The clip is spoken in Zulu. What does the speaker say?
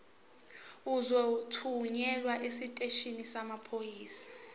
uzothunyelwa esiteshini samaphoyisa